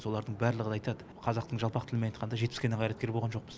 солардың барлығы айтады қазақтың жалпақ тілімен айтқанда жетіскеннен қайраткер болған жоқпыз